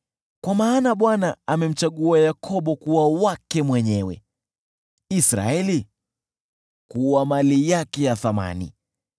Kwa maana Bwana amemchagua Yakobo kuwa wake mwenyewe, Israeli kuwa mali yake ya thamani.